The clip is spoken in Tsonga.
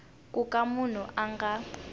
ku ka munhu a nga